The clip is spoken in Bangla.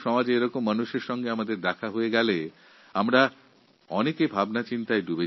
যখন সমাজে এই ধরনের মানুষের সঙ্গে মিলিত হওয়ার সুযোগ হয় তখন আমার মনে অনেক ধরনের ভাবনা আসে